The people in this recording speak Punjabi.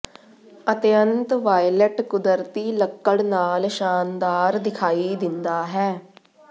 ਅਿਤਅੰਤ ਵਾਇਲਟ ਕੁਦਰਤੀ ਲੱਕੜ ਨਾਲ ਸ਼ਾਨਦਾਰ ਦਿਖਾਈ ਦਿੰਦਾ ਹੈ